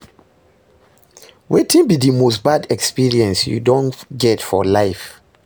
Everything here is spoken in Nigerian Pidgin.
wetin be di most bad experience you don get for life?